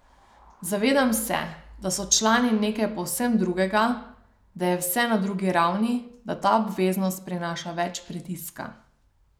Zavedam se, da so člani nekaj povsem drugega, da je vse na drugi ravni, da ta obveznost prinaša več pritiska.